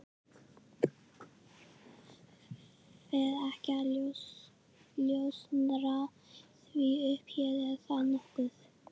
Fer ekki að ljóstra því upp hér, er það nokkuð?